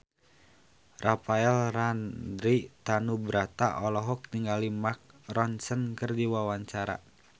Rafael Landry Tanubrata olohok ningali Mark Ronson keur diwawancara